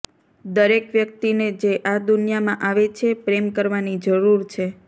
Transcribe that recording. દરેક વ્યક્તિને જે આ દુનિયામાં આવે છે પ્રેમ કરવાની જરૂર છે